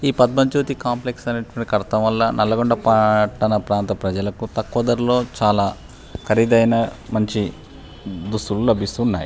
ఈ పద్మ జ్యోతి కాంప్లెక్స్ అనేటువంటిది కడటం వల్ల నల్గొండ పట్టనా ప్రాంత ప్రజలకు తక్కువ ధరాలో చాలా ఖరీదైన మంచి దుస్తులు లభిస్తున్నాయి.